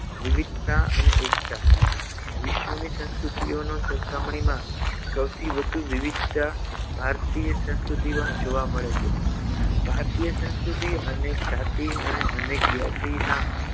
વિવિધતા અને એકતા વિશ્વની સંસ્કૃતિઓનો સરખામણીમાં સૌથી વધુ વિવિધતા ભારતીય સંસ્કૃતિમાં જોવા મળે છે ભારતીય સંસ્કૃતિ અનેક જાતિ અને અનેક જ્ઞાતિના